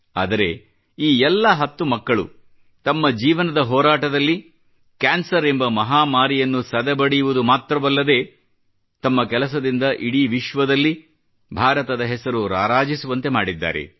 ಆದರೆ ಈ ಎಲ್ಲ ಹತ್ತು ಮಕ್ಕಳು ತಮ್ಮ ಜೀವನದ ಹೋರಾಟದಲ್ಲಿ ಕ್ಯಾನ್ಸರ್ ಎಂಬ ಮಹಾಮಾರಿಯನ್ನು ಸದೆಬಡಿಯುವುದು ಮಾತ್ರವಲ್ಲದೇ ತಮ್ಮ ಕೆಲಸದಿಂದ ಇಡೀ ವಿಶ್ವದಲ್ಲಿ ಭಾರತದ ಹೆಸರು ರಾರಾಜಿಸುವಂತೆ ಮಾಡಿದ್ದಾರೆ